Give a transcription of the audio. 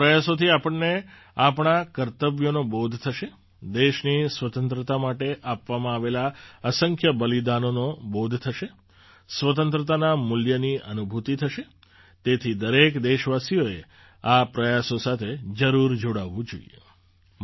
આ પ્રયાસોથી આપણને આપણાં કર્તવ્યોનો બોધ થશે દેશની સ્વતંત્રતા માટે આપવામાં આવેલાં અસંખ્ય બલિદાનોનો બોધ થશે સ્વતંત્રતાના મૂલ્યની અનુભૂતિ થશે તેથી દરેક દેશવાસીએ આ પ્રયાસો સાથે જરૂર જોડાવું જોઈએ